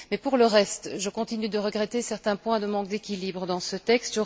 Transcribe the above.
Mais pour le reste, je continue de regretter certains points de manque d'équilibre dans ce texte.